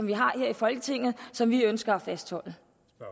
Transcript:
vi har her i folketinget og som vi ønsker at fastholde